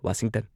Washington